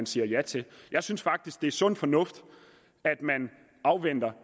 siger ja til jeg synes faktisk at det er sund fornuft at man afventer